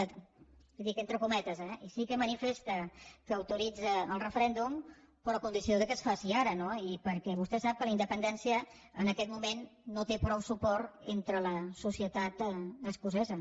i li ho dic entre cometes eh sí que manifesta que autoritza el referèndum però a condició que es faci ara no i perquè vostè sap que la independència en aquest moment no té prou suport entre la societat escocesa